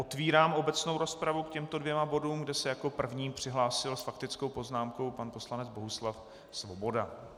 Otevírám obecnou rozpravu k těmto dvěma bodům, kde se jako první přihlásil s faktickou poznámkou pan poslanec Bohuslav Svoboda.